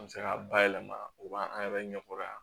An bɛ se ka bayɛlɛma u b'an yɛrɛ ɲɛkɔrɔ yan